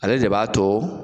Ale de b'a to